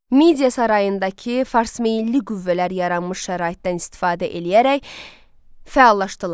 Midiya sarayındakı farsmeyilli qüvvələr yaranmış şəraitdən istifadə eləyərək fəallaşdılar.